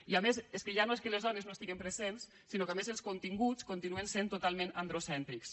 i a més ja no és que les dones no hi estiguem presents sinó que a més els continguts continuen sent totalment androcèntrics